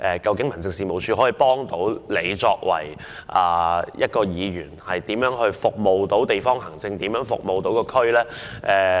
究竟民政事務處可以如何協助議員服務當區和處理地方行政呢？